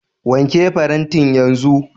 Wanke farantin yanzu.